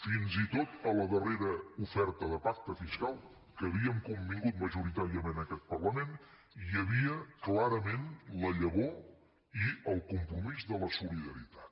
fins i tot en la darrera oferta de pacte fiscal que havíem convingut majoritàriament aquest parlament hi havia clarament la llavor i el compromís de la solidaritat